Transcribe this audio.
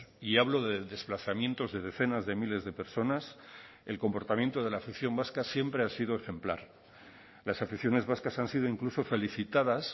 y hablo de desplazamientos de decenas de miles de personas el comportamiento de la afición vasca siempre ha sido ejemplar las aficiones vascas han sido incluso felicitadas